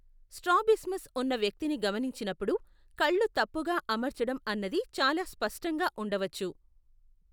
Strabismus ఉన్న వ్యక్తిని గమనించినప్పుడు, కళ్ళు తప్పుగా అమర్చడం అన్నది చాలా స్పష్టంగా ఉండవచ్చు.